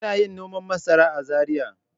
Kina yin noman masara a Zariya.